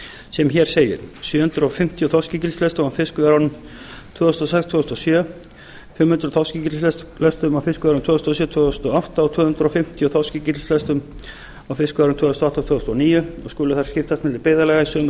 sem hér segir sjö hundruð fimmtíu þorskígildislestum á fiskveiðiárinu tvö þúsund og sex tvö þúsund og sjö fimm hundruð þorskígildislestum á fiskveiðiárinu tvö þúsund og sjö tvö þúsund og átta og tvö hundruð fimmtíu þorskígildislestum á fiskveiðiárinu tvö þúsund og átta tvö þúsund og níu og skulu þær skiptast milli byggðarlaga í sömu